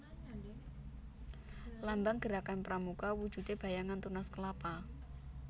Lambang Gerakan Pramuka wujude bayangan tunas kelapa